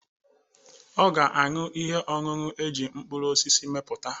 Ọ ga-aṅụ ihe ọṅụṅụ eji mkpụrụrụosisi mepụta.